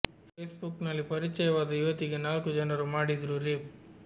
face book ನಲ್ಲಿ ಪರಿಚಯವಾದ ಯುವತಿಗೆ ನಾಲ್ಕು ಜನರು ಮಾಡಿದ್ರು ರೇಪ್